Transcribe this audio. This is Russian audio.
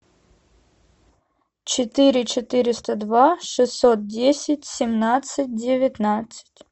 четыре четыреста два шестьсот десять семнадцать девятнадцать